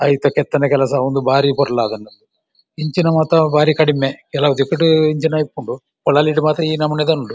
ಐತ ಕೆತ್ತನೆ ಕೆಲಸ ಆವೊಂದು ಬಾರಿ ಪೊರ್ಲು ಆತುಂಡು. ಇಂಚಿನ ಮಾತಾ ಬಾರಿ ಕಡಿಮೆ ಕೆಲವು ದಿಕ್ಕ್‌ಡ್‌ ಇಂಚಿನ ಇಪ್ಪುಂಡು ಪೊಳಲಿಡ್‌ ಮಾತ ಈ ನಮೂನೆದ ಉಂಡು.